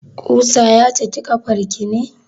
Ƙusa ya cake ƙafar ki ne?